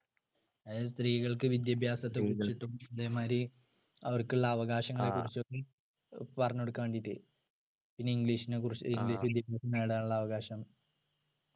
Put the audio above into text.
അത് സ്ത്രീകൾക്ക് വിദ്യാഭ്യാസത്തെ കുറിച്ചിട്ടും അതേമാതിരി അവർക്കുള്ള അവകാശങ്ങളെ കുറിച്ചിട്ടും പറഞ്ഞുകൊടുക്കാൻ വേണ്ടിയിട്ട് പിന്നെ english നെ കുറിച്ച് വിദ്യാഭ്യാസം നേടാനുള്ള അവകാശം